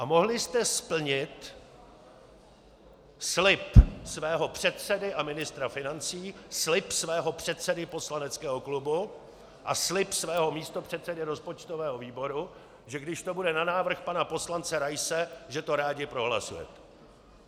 A mohli jste splnit slib svého předsedy a ministra financí, slib svého předsedy poslaneckého klubu a slib svého místopředsedy rozpočtového výboru, že když to bude na návrh pana poslance Raise, že to rádi prohlasujete.